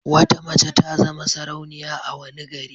Wata mace ta zama sarauniya a wani gari.